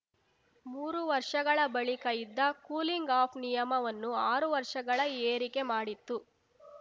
ಮೂರು ವರ್ಷಗಳ ಬಳಿಕ ಇದ್ದ ಕೂಲಿಂಗ್‌ ಆಫ್‌ ನಿಯಮವನ್ನು ಆರು ವರ್ಷಗಳ ಏರಿಕೆ ಮಾಡಿತ್ತು